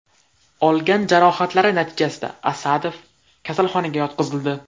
Olgan jarohatlari natijasida Asadov kasalxonaga yotqizildi.